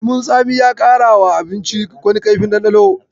Lemon tsamin ya ƙarawa abincin wani kaifin ɗanɗano.